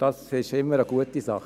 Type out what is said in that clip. Das ist immer eine gute Sache.